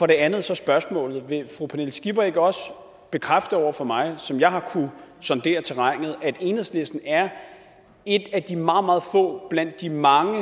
det andet er så spørgsmålet vil fru pernille skipper ikke også bekræfte over for mig som jeg har kunnet sondere terrænet at enhedslisten er et af de meget meget få blandt de mange